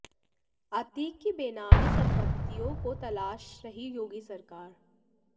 अतीक की बेनामी संपत्तियों को तलाश रही याेगी सरकार